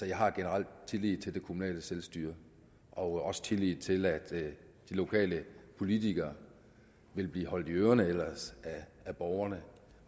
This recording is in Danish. jeg har generelt tillid til det kommunale selvstyre og også tillid til at de lokale politikere vil blive holdt i ørerne af borgerne